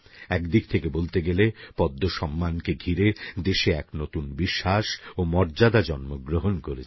একদিক থেকে বলতে গেলে পদ্মসম্মানকে ঘিরে দেশে এক নতুন বিশ্বাস ও মর্যাদা জন্মগ্রহণ করেছে